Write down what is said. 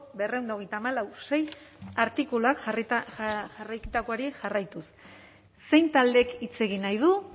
berrehun eta berrogeita hamalau puntu sei artikulua jarraituz zein taldek hitz egin nahi du